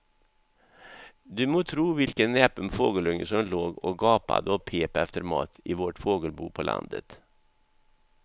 Du må tro vilken näpen fågelunge som låg och gapade och pep efter mat i vårt fågelbo på landet.